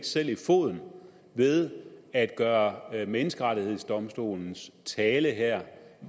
selv i foden ved at gøre menneskerettighedsdomstolens tale her